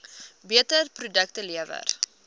beter produkte lewer